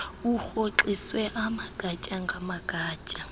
urhoxiswe amagatya ngamagatya